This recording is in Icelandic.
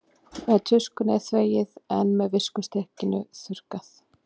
með tuskunni er þvegið en með viskustykkinu þurrkað